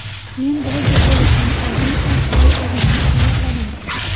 Men bloger bo‘lishdan oldin uch oy o‘zimni tayyorladim.